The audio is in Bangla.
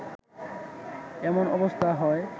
এমন অবস্থা হয়